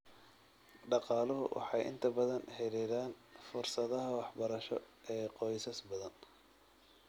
Dhaqaaluhu waxay inta badan xaddidaan fursadaha waxbarasho ee qoysas badan.